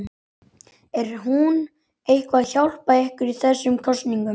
Er hún eitthvað að hjálpa ykkur í þessum kosningum?